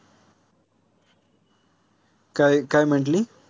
काय काय म्हंटली?